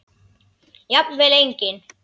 Jafnvel engin.